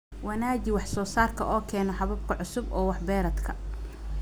wanaaji wax-soo-saarka oo keena habab cusub oo wax-beereedka.